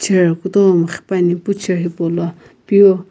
chair kutomo qhipani epu hipa chair peu.